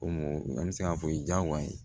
Ko mɔgɔ an bɛ se k'a fɔ o ye diyagoya ye